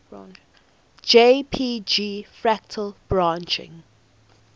jpg fractal branching